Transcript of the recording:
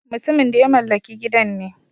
Mutumin da ya mallaki gidan ne.